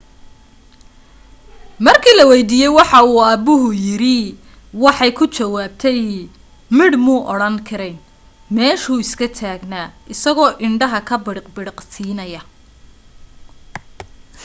markii la waydiiyay wuxu aabuhu yiri waxay ku jawaabtay midh muu odhan karayn meeshu iska taagnaa isagoo indhaha ka bidhiq-bidhiqsiinaya